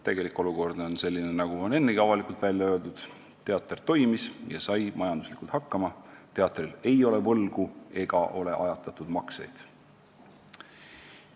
" Tegelik olukord on selline, nagu on ennegi välja öeldud: teater toimis ja sai majanduslikult hakkama, teatril ei ole võlgu ega ajatatud makseid.